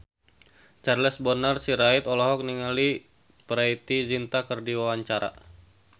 Charles Bonar Sirait olohok ningali Preity Zinta keur diwawancara